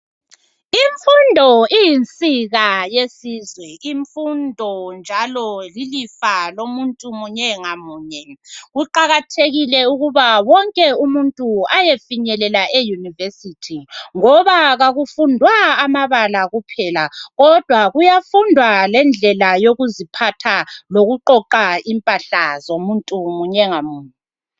Imfundo iyinsika yesizwa imfundo njalo iyilifa lomuntu munye ngamunye kuqakathekile ukuba wonke umuntu ayefinyelela eyunivesithi ngoba kakufundwa amabala kuphela kodwa kuyafundwa lendlela yokuziphatha lokuqoqa impahla zomuntu munye ngamunye